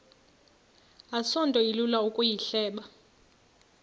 asinto ilula ukuyihleba